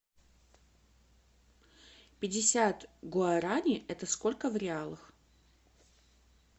пятьдесят гуарани это сколько в реалах